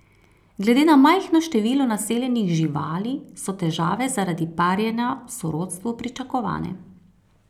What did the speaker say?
Glede na majhno število naseljenih živali so težave zaradi parjenja v sorodstvu pričakovane.